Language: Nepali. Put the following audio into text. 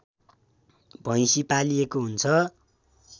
भैँसी पालिएको हुन्छ